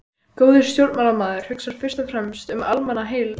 Góður stjórnmálamaður hugsar fyrst og fremst um almannaheill.